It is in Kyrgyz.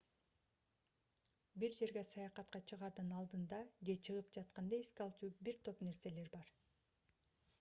бир жерге саякатка чыгаардын алдында же чыгып жатканда эске алчу бир топ нерселер бар